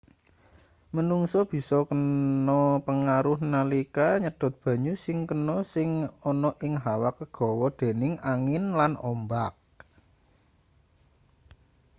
menungsa bisa kena pengaruh nalika nyedot banyu sing kena sing ana ing hawa kegawa dening angin lan ombak